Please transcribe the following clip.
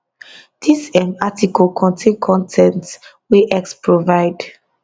dis um article contain con ten t wey x provide